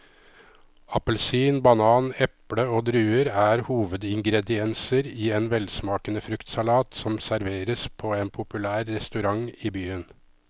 Appelsin, banan, eple og druer er hovedingredienser i en velsmakende fruktsalat som serveres på en populær restaurant i byen.